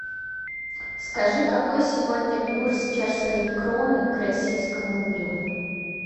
скажи какой сегодня курс чешской кроны к российскому рублю